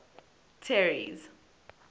terry's